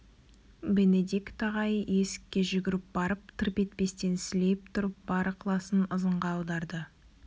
бенедикт ағай есікке жүгіріп барып тырп етпестен сілейіп тұрып бар ықыласын ызыңға аударды